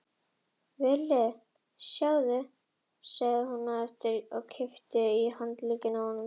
Villi, sjáðu, sagði hún hvað eftir annað og kippti í handlegginn á honum.